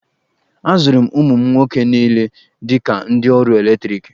Azụrụ m ụmụ m nwoke niile dị ka ndị ọrụ eletriki.